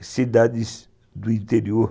cidades do interior.